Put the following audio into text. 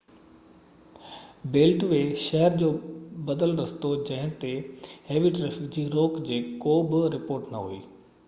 belt وي شهر جو بدل رستو جنهن تي هيوي ٽرئفڪ جي روڪ جي ڪو بہ رپورٽ نہ هئي